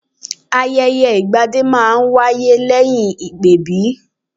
Ayẹyẹ ìgbadé máa ń wáyé lẹ́yìn ìpèbí